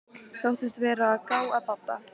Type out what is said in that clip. Þóttist vera að gá að Badda.